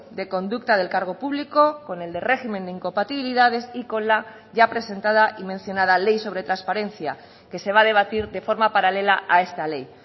de conducta del cargo público con el de régimen de incompatibilidades y con la ya presentada y mencionada ley sobre transparencia que se va a debatir de forma paralela a esta ley